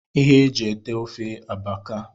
ihe e ji ete ofe abaka